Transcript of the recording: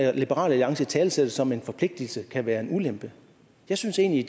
at liberal alliance italesætter det som en forpligtelse kan være en ulempe jeg synes egentlig